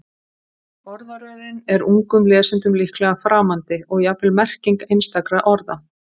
Orðaröðin er ungum lesendum líklega framandi og jafnvel merking einstakra orða.